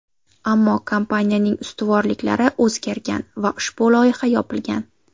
Ammo kompaniyaning ustuvorliklari o‘zgargan va ushbu loyiha yopilgan.